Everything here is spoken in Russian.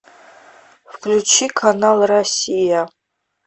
включи канал россия